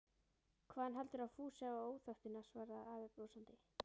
Hvaðan heldurðu að Fúsi hafi óþekktina? svaraði afi brosandi.